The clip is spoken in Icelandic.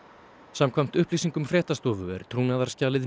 samkvæmt upplýsingum fréttastofu er